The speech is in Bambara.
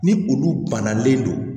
Ni olu bannalen don